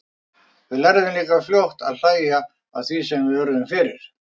Við lærðum líka fljótt að hlæja að því sem við urðum fyrir.